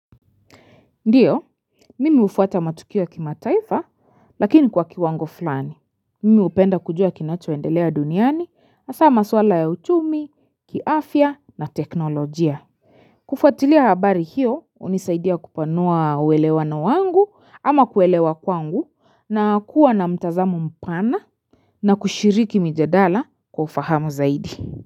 Ndio, mimi hufuata matukio ya kimataifa, lakini kwa kiwango fulani. Mimi hupenda kujua kinachoendelea duniani, hasaa maswala ya uchumi, kiafya na teknolojia. Kufuatilia habari hiyo, hunisaidia kupanua uelewano wangu, ama kuelewa kwangu, na kuwa na mtazamo mpana, na kushiriki mijadala kwa ufahamu zaidi.